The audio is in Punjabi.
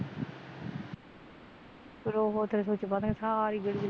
ਰੋਵੋ ਤੇ ਸੁੱਚ ਪਾ ਦੇਣ ਸਾਰੀ ਗਲੀ